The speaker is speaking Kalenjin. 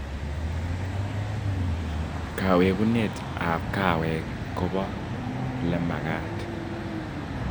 Kawekunet ab kaweek koba lemagaat